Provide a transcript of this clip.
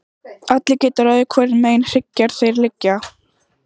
Allir geta ráðið hvorum megin hryggjar þeir liggja.